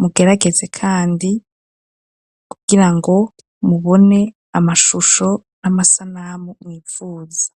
mugerageze kandi kugira ngo mubone amashusho n'amasanamu mwipfuza.